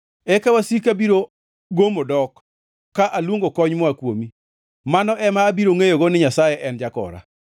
Eka wasika biro gomo dok ka aluongo kony moa kuomi. Mano ema abiro ngʼeyogo ni Nyasaye en jakora.